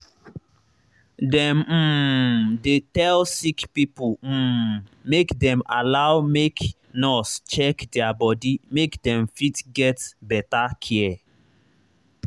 dem um dey tell sick pipo um make them allow make nurse check their body make them fit get better care.